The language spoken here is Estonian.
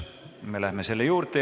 Me läheme selle juurde.